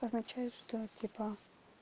означает что типа